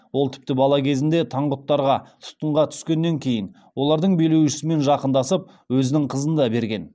ол тіпті бала кезінде таңғұттарға тұтқынға түскеннен кейін олардың билеушісімен жақындасып өзінің қызын да берген